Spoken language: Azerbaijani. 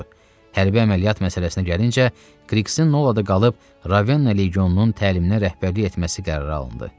Hərbi əməliyyat məsələsinə gəlincə, Kriksin Nolada qalıb Ravenna legionunun təliminə rəhbərlik etməsi qərara alındı.